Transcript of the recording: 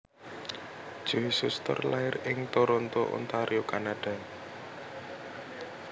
Joe Shuster lair ing Toronto Ontario Kanada